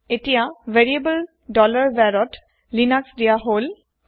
এতিয়া variable var ত লিনাস দিয়া হল